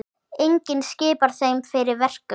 Enginn skipar þeim fyrir verkum.